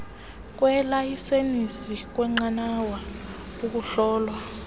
kweelayisenisi kweenqanawa ukuhlolwa